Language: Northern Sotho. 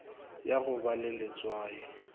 ya go ba le letswai